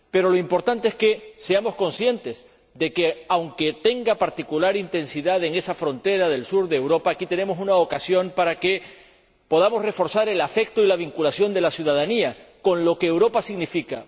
Pero lo importante es que seamos conscientes de que, aunque tenga particular intensidad en esa frontera del sur de Europa, aquí tenemos una ocasión para que podamos reforzar el afecto y la vinculación de la ciudadanía con lo que Europa significa.